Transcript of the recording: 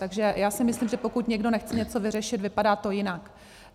Takže já si myslím, že pokud někdo nechce něco vyřešit, vypadá to jinak.